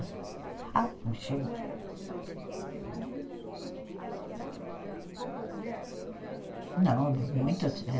Como era para a senhora assim, porque lá devia ter poucas moças né trabalhando, poucas mulheres trabalhando? Não, muitas, eh